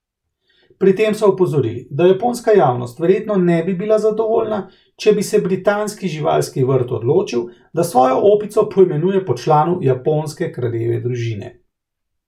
Pri tem so opozorili, da japonska javnost verjetno ne bi bila zadovoljna, če bi se britanski živalski vrt odločil, da svojo opico poimenuje po članu japonske kraljeve družine.